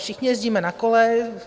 Všichni jezdíme na kole.